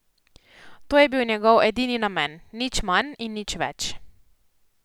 To je bil njegov edini namen, nič manj in nič več.